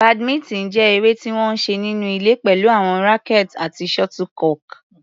Badminton jẹ́ eré tí wọ́n ń ṣe nínú ilé pẹ̀lú àwọn rackets àti shuttlecock.